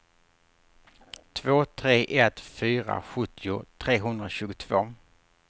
två tre ett fyra sjuttio trehundratjugotvå